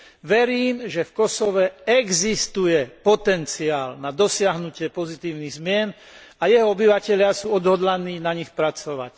Verím, že v Kosove existuje potenciál na dosiahnutie pozitívnych zmien a jeho obyvatelia sú odhodlaní na nich pracovať.